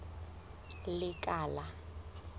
lekala